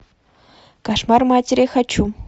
кошмар матери хочу